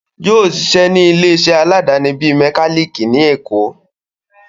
Yóò sisẹ́ ní ilé iṣẹ́ aláàdáni bíi mẹkálíkì ní èkó